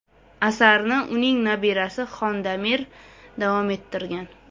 Asarni uning nabirasi Xondamir davom ettirgan.